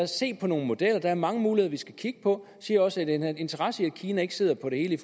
se på nogle modeller at der er mange muligheder vi skal kigge på han siger også at vi har en interesse i at kina ikke sidder på det hele